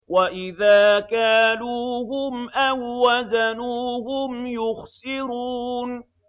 وَإِذَا كَالُوهُمْ أَو وَّزَنُوهُمْ يُخْسِرُونَ